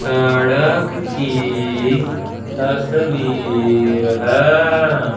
सड़क की तस्वीर है।